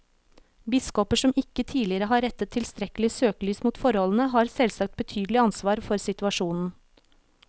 Biskoper som ikke tidligere har rettet tilstrekkelig søkelys på forholdene, har selvsagt betydelig ansvar for situasjonen.